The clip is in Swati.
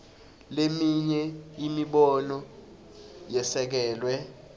leminye imibono yesekelwe